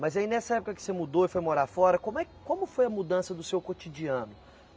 Mas aí nessa época que você mudou e foi morar fora, como é, como foi a mudança do seu cotidiano?